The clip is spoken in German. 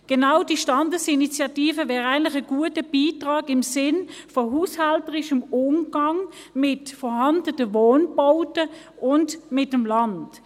Genau diese Standesinitiative wäre eigentlich ein guter Beitrag im Sinne von haushälterischem Umgang mit vorhandenen Wohnbauten und mit dem Land.